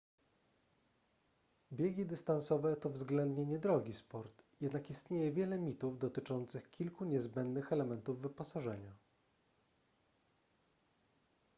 biegi dystansowe to względnie niedrogi sport jednak istnieje wiele mitów dotyczących kilku niezbędnych elementów wyposażenia